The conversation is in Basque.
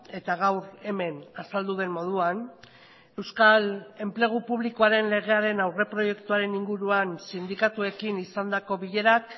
eta gaur hemen azaldu den moduan euskal enplegu publikoaren legearen aurreproiektuaren inguruan sindikatuekin izandako bilerak